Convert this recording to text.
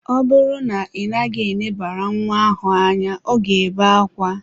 Ọ bụrụ na ị naghị elebara nwa ahụ anya, ọ ga-ebe akwa.